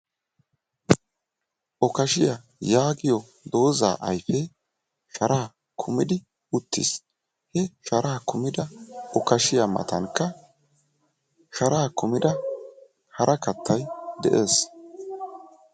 Okashiya yaagiyo doozaa ayfe sharaa kumidi uttiis. He sharaa kumida okashiya matankka shara kumida hara kattay de'ees.